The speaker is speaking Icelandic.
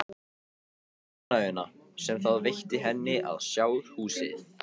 Um ánægjuna sem það veitti henni að sjá húsið.